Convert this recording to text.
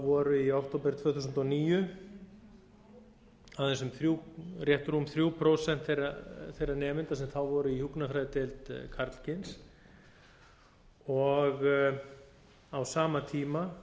voru í október tvö þúsund og níu rétt rúm þrjú prósent þeirra nemenda sem hvoru í hjúkrunarfræðideild karlkyns og á sama tíma